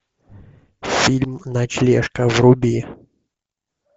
фильм ночлежка вруби